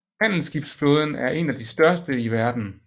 Handelsskibsflåden er en af de største i verden